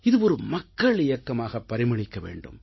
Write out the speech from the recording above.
இது ஒரு மக்கள் இயக்கமாக பரிமளிக்க வேண்டும்